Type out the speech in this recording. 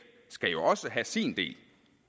skal jo også have sin del